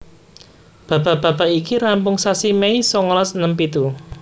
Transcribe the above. Babak babak iki rampung sasi Mei songolas enem pitu